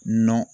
Nɔn